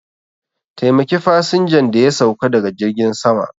Taimaki fasinjan da ya sauka daga jirgin sama